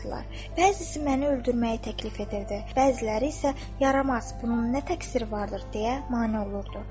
Bəzisi məni öldürməyi təklif edirdi, bəziləri isə yaramaz bunun nə təqsiri vardır deyə mane olurdu.